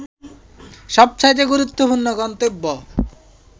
সবচাইতে গুরুত্বপূর্ন গন্তব্য